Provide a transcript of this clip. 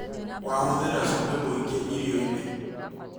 Wa hũthĩra cumbĩ mũingĩ irioinĩ